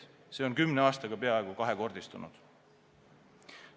See on kümne aastaga peaaegu kahekordistunud.